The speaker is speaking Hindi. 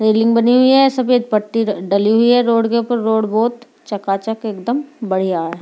सीलिंग बनी हुई है सफ़ेद पट्टी डली हुई है रोड के ऊपर रोड बहुत चका चक एकदम बढ़िया है।